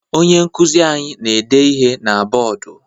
Onye nkụzi anyị na-ede ihe na bọọdụ